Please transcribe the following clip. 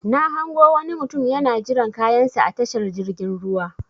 Na hango wani mutum yana jiran kayan sa a tashar jirgin ruwa.